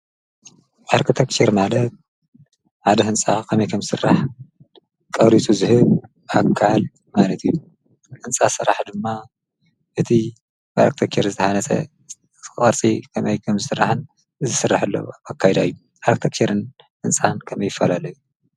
ኣርክቴክቸር ማለት ሓደ ህንፃ ኸመይ ከምዝስራሕ ቀሪፁ ዝህብ ኣካል ማለት እዩ፡፡ ህንፃ ስራሕ ድማ እቲ ብኣርክቴክቸር ዝተሓነፀ ቅርፂ ከመይ ከምዝስራሕን ዝስርሓሉን ኣካይዳ እዩ፡፡ ኣርክቴክቸርን ህንፃን ከመይ ይፈላለዩ?